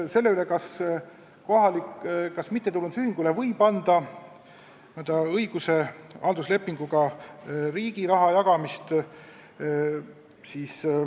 Nüüd sellest, kas mittetulundusühingule võib anda õiguse halduslepinguga riigi raha jagada.